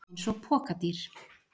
Eins og pokadýr!